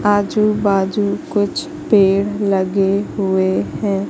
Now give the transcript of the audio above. आजू बाजू कुछ पेड़ लगे हुए हैं।